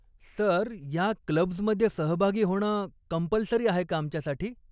Sir, ह्या clubs मध्ये सहभागी होणं कंपलसरी आहे का आमच्यासाठी ?